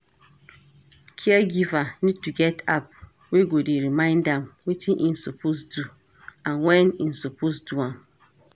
Caregiver need to get app wey go dey remind am wetin im suppose do and when im suppose do am